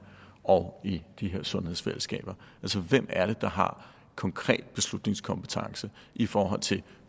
og i de her sundhedsfællesskaber altså hvem er det der har konkret beslutningskompetence i forhold til